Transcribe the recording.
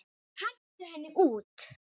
Hentu henni út!